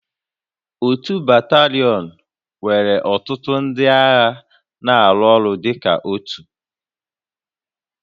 Otu batalion nwere ọtụtụ ndị agha na-arụ ọrụ dịka otu